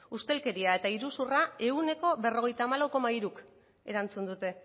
ustelkeria eta iruzurra ehuneko berrogeita hamalau koma hiruk erantzun dute